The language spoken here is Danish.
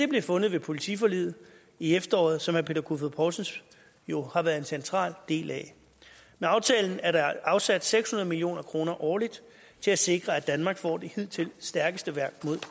blev fundet ved politiforliget i efteråret som herre peter kofod poulsen jo har været en central del af med aftalen er der afsat seks hundrede million kroner årligt til at sikre at danmark får det hidtil stærkeste værn mod